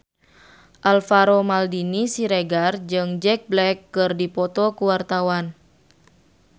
Alvaro Maldini Siregar jeung Jack Black keur dipoto ku wartawan